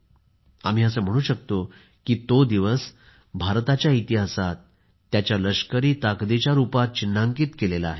आम्ही असे म्हणू शकतो की तो दिवस भारताच्या इतिहासात त्याच्या लष्करी ताकदीच्या रुपात चिन्हांकित केला आहे